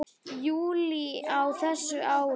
júlí á þessu ári.